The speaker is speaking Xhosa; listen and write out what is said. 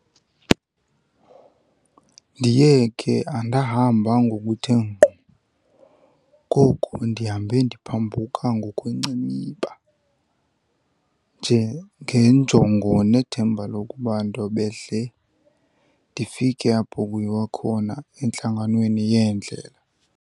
Ndiye ke andahamba ngokuthe ngqo, koko ndihambe ndiphambuka ngokwenciniba, njengenjongo nethemba lokuba ndobehle ndifike apho kuyiwa khona, entlanganweni yeendlela.